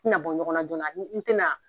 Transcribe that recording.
tɛna bɔ ɲɔgɔn na joona n tɛna